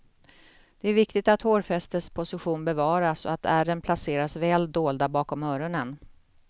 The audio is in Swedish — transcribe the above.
Det är viktigt att hårfästets position bevaras och att ärren placeras väl dolda bakom öronen.